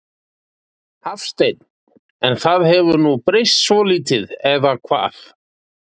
Hafsteinn: En það hefur nú breyst svolítið eða hvað?